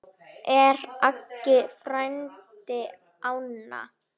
Er Aggi frændi inná?